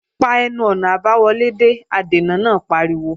Pa ẹnu-ọ̀nà àbáwọlé dé! Adènà náà pariwo